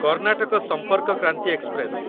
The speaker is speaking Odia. କର୍ଣ୍ଣାଟକ ସମ୍ପର୍କ କ୍ରାନ୍ତି ଏକ୍ସପ୍ରେସ